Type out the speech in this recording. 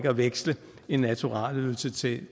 at veksle en naturalieydelse til